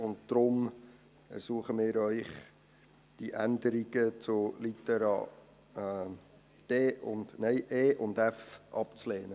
Deshalb ersuchen wir Sie, die Änderungen zu Litera e und f abzulehnen.